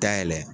Dayɛlɛ